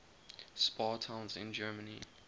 spa towns in germany